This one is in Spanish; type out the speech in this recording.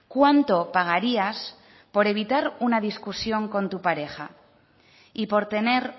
cuánto pagarías por evitar una discusión con tu pareja y por tener